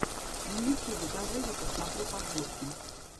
на ютьюбе давай я посмотрю подборки